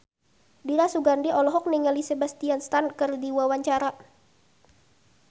Dira Sugandi olohok ningali Sebastian Stan keur diwawancara